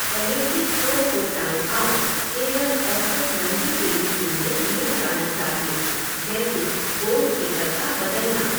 Penalty throw को time out केवल औसत लम्बी देरी के लिए दिया जाना चाहिए, जैसे गोल कीपर का बदलना।